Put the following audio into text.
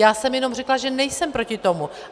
Já jsem jenom řekla, že nejsem proti tomu.